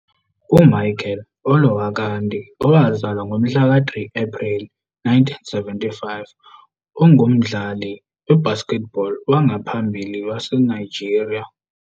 UMichael Olowokandi, owazalwa ngomhla ka-3 Ephreli 1975, ungumdlali we- basketball wangaphambili waseNigeria.